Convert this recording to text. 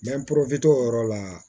o yɔrɔ la